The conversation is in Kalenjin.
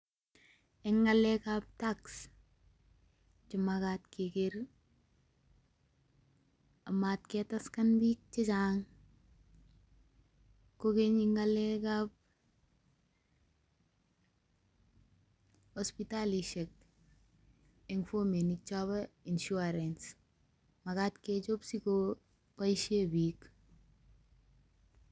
En ngalekab Tax, komagat kegeer ak magat ketaksen biik chechang. kogeny en ngalekab hospitalisiek en fominik chobo insurance, makat kechob sikoboishien biik.